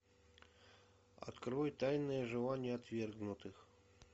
открой тайное желание отвергнутых